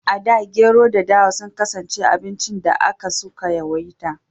A da Gero da dawa sun kasance abincin da aka su ka yawaita